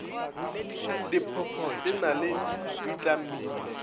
diphopho di na le bitamine